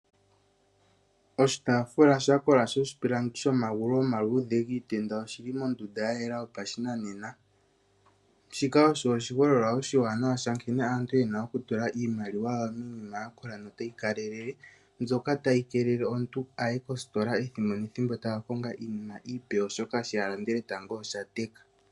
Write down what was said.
Oshitaafula sha kola shoshipilangi shomagulu goshitenda oshi li mondunda ya yela yopashinanena. Shika osho oshiholelwa oshiwanawa sha nkene aantu ye na okutula iimaliwa yawo miinima ya kola notayi kalelele, mbyoka tayi keelele omuntu a ye koositola ethimbo nethimbo taa ka konga iinima iipe, oshoka shono a landele tango osha teka.